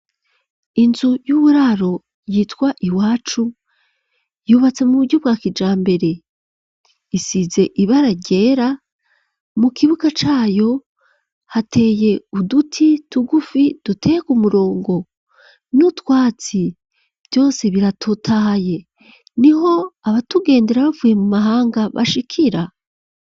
Inzu y'uburaro yitwa Iwacu, yubatse mu buryo bwa kijambere, isize ibara ryera, mu kibuga cayo hateye uduti tugufi duteye k'umurongo, n'utwatsi, vyose biratotahaye, niho abatugendera bavuye mu mahanga bashikira.